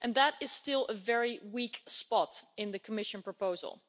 That is still very weak spot in the Commission proposal.